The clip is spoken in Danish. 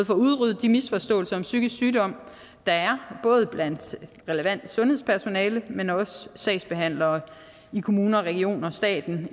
får udryddet de misforståelser om psykisk sygdom der er både blandt det relevante sundhedspersonale men også sagsbehandlere i kommuner regioner staten